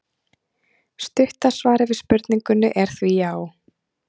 Stutta svarið við spurningunni er því já!